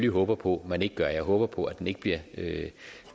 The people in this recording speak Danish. håber på man ikke gør jeg håber på at den ikke bliver